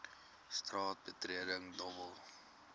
straat betreding dobbel